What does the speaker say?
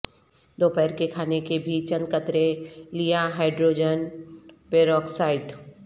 دوپہر کے کھانے کے بھی چند قطرے لیا ہائیڈروجن پیروکسائڈ